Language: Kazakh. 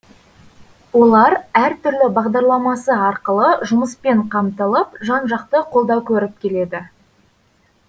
олар әртүрлі бағдарламасы арқылы жұмыспен қамтылып жан жақты қолдау көріп келеді